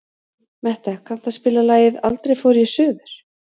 Metta, kanntu að spila lagið „Aldrei fór ég suður“?